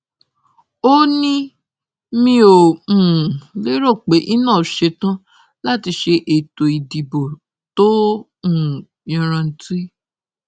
ó ní mi ò um lérò pé inov ṣetán láti ṣe ètò ìdìbò tó um yanranntí